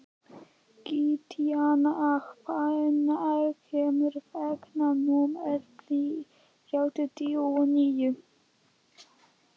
Gratíana, hvenær kemur vagn númer þrjátíu og níu?